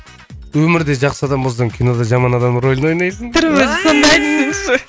өмірде жақсы адам болсаң кинода жаман адам рөлін ойнайсың түрім өзі сондай десеңізші